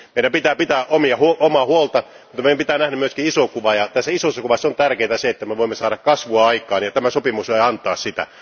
Meidän pitää pitää omaa huolta, mutta meidän pitää nähdä myös iso kuva. Isossa kuvassa on tärkeintä se, että me voimme saada kasvua aikaan ja tämä sopimus voi antaa sitä.